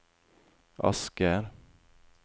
Asker